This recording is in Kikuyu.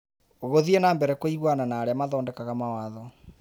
Gũthiĩ na mbere kũiguana na arĩa mathondekaga mawatho.